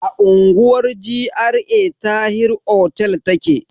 A unguwar GRA Tahir otel take.